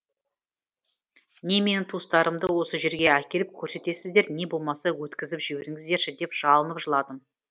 не менің туыстарымды осы жерге әкеліп көрсетесіздер не болмаса өткізіп жіберіңіздерші деп жалынып жыладым